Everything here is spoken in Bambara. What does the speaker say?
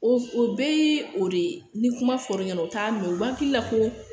O o bɛɛ ye o de ye ni kuma fɔr'i ɲɛna u t'a mɛn u b'a hakili la ko